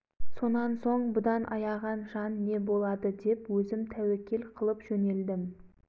жұртқа жан қайғы болды мұсылман советі дін мұсылман үшін өлсек арманымыз жоқ деп отырдық советтегі өзге